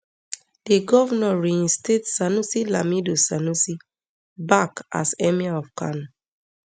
di govnor reinstate sanusi lamido sanusi back as emir of kano